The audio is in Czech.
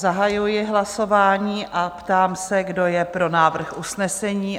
Zahajuji hlasování a ptám se, kdo je pro návrh usnesení?